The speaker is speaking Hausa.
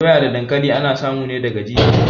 Doya da dankali ana samu ne daga jijiya